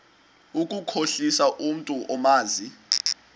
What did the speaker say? ukukhohlisa umntu omazi